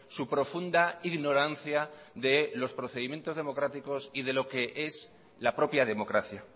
su profunda ignorancia de los procedimientos democráticos y de lo que es la propia democracia